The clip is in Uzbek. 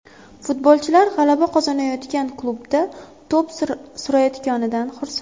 Futbolchilar g‘alaba qozonayotgan klubda to‘p surayotganidan xursand.